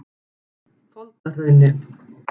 Foldahrauni